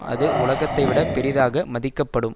அது உலகத்தைவிட பெரிதாக மதிக்கப்படும்